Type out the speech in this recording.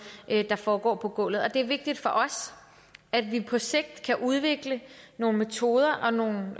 der foregår på gulvet og det er vigtigt for os at vi på sigt kan udvikle nogle metoder og nogle